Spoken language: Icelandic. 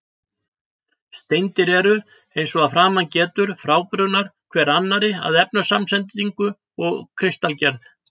Steindir eru, eins og að framan getur, frábrugðnar hver annarri að efnasamsetningu og kristalgerð.